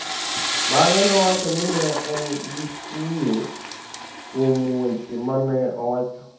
Bang’e nowacho ni ne en gi kuyo kuom weche ma ne owacho.